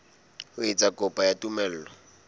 ho etsa kopo ya tumello